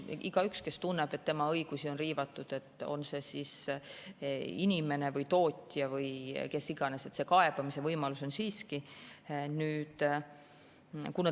Igaühel, kes tunneb, et tema õigusi on riivatud, on see inimene või tootja või kes iganes, see kaebamise võimalus on olemas.